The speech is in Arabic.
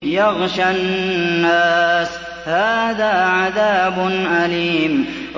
يَغْشَى النَّاسَ ۖ هَٰذَا عَذَابٌ أَلِيمٌ